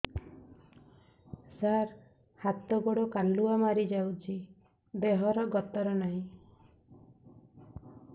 ସାର ହାତ ଗୋଡ଼ କାଲୁଆ ମାରି ଯାଉଛି ଦେହର ଗତର ନାହିଁ